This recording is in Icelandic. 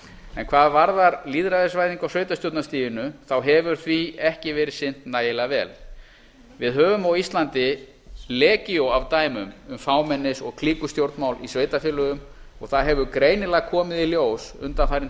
en hvað varðar lýðræðisvæðingu á sveitarstjórnarstiginu hefur því ekki verið sinnt nægilega vel við höfum á íslandi legíó af dæmum um fámennis og klíkustjórnmál í sveitarfélögum og það hefur greinilega komið í ljós undanfarin